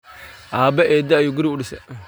Aabe eeda ayu guri uudise.